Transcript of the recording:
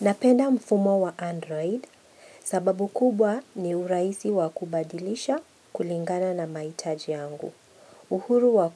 Napenda mfumo wa Android sababu kubwa ni urahisi wa kubadilisha kulingana na mahitaji yangu. Uhuru wa